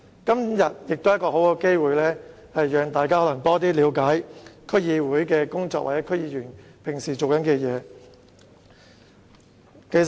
今天是一個很好的機會，讓大家多了解區議會的工作，以及區議員平時所做的事情。